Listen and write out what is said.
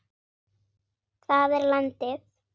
Það er landið.